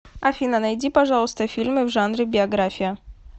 афина нади пожалуйста фильмы в жанре биография